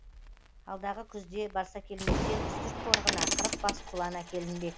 алдағы күзде барсакелместен үстірт қорығына қырық бас құлан әкелінбек